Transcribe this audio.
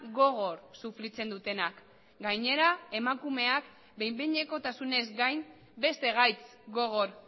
gogor sufritzen dutenak gainera emakumeak behin behinekotasunez gain beste gaitz gogor